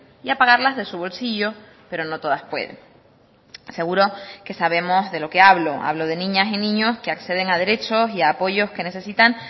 y a pagarlas de su bolsillo pero no todas pueden seguro que sabemos de lo que hablo hablo de niñas y niños que acceden a derechos y apoyos que necesitan